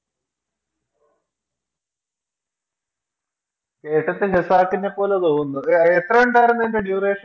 കേട്ടിട്ട് ഖസാക്കിനെ പോലെതോന്നിന്ന് എ ആ എത്ര ഇണ്ടായിരുന്നു അതിൻറെ Duration